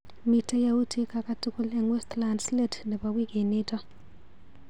Miite yautik akatukul eng Westlands let nebo wikinito.